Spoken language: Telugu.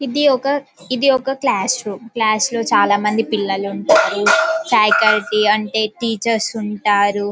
ఇది ఒక ఇది ఒక క్లాస్ రూమ్ క్లాస్ లో చాలా మంది పిల్లలు ఉంటారు ఫాకల్టీ అంటే టీచర్ ఉంటారు .